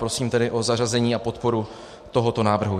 Prosím tedy o zařazení a podporu tohoto návrhu.